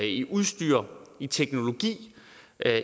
i udstyr i teknologi